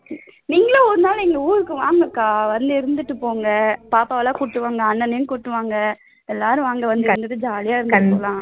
நீங்களும் ஒரு நாள் எங்க ஊருக்கு வாங்கக்கா வந்து இருந்துட்டு போங்க பாப்பா எல்லாம் கூட்டிட்டு வாங்க அண்ணனையும் கூட்டிட்டு வாங்க எல்லாரும் வாங்க வந்துட்டு இருந்துட்டு jolly யா இருந்துட்டு போலாம்